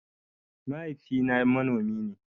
Mahaifi na manomi ne